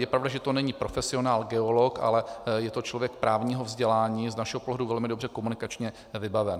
Je pravda, že to není profesionál geolog, ale je to člověk právního vzdělání, z našeho pohledu velmi dobře komunikačně vybavený.